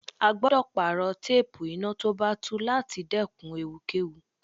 A gbọ́dọ̀ pààrọ̀ téépù iná tó bá tú láti dẹ́kun ewu kẹ́wu.